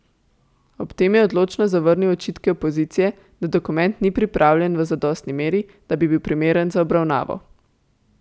Ob tem je odločno zavrnil očitke opozicije, da dokument ni pripravljen v zadostni meri, da bi bil primeren za obravnavo.